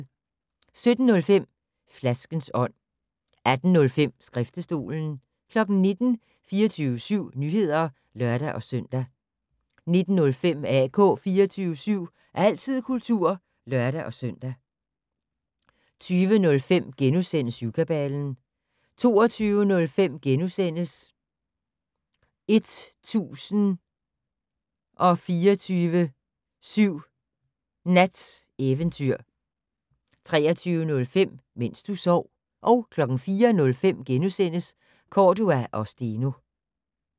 17:05: Flaskens ånd 18:05: Skriftestolen 19:00: 24syv Nyheder (lør-søn) 19:05: AK 24syv - altid kultur (lør-søn) 20:05: Syvkabalen * 22:05: 1024syv Nats Eventyr * 23:05: Mens du sov 04:05: Cordua & Steno *